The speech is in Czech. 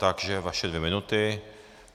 Takže vaše dvě minuty.